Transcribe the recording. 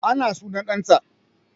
Ana sunan ɗan ta